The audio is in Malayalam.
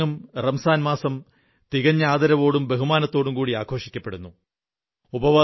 ലോകമെങ്ങും റംസാൻമാസം തികഞ്ഞ ആദരവോടും ബഹുമാനത്തോടും ആഘോഷിക്കപ്പെടുന്നു